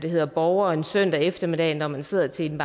af borgere en søndag eftermiddag når man sidder til en